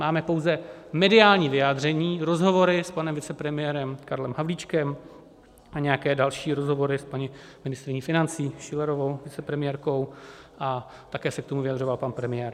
Máme pouze mediální vyjádření, rozhovory s panem vicepremiérem Karlem Havlíčkem a nějaké další rozhovory s paní ministryní financí Schillerovou, vicepremiérkou, a také se k tomu vyjadřoval pan premiér.